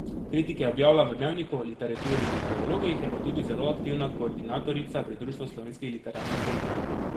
Kritike objavlja v Dnevniku, Literaturi in Dialogih, je pa tudi zelo aktivna koordinatorica pri Društvu slovenskih literarnih kritikov.